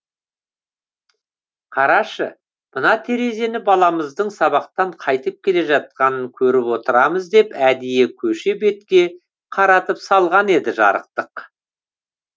қарашы мына терезені баламыздың сабақтан қайтып келе жатқанын көріп отырамыз деп әдейі көше бетке қаратып салған еді жарықтық